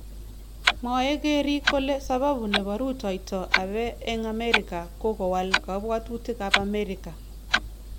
Mwae keriik kole sababu nebo rutoitab Abe eng Amerika ko kowal kabwotutik ab amerika